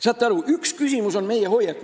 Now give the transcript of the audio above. Saate aru, küsimus on meie hoiakus.